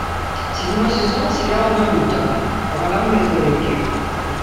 седьмой сезон сериала наруто ураганные хроники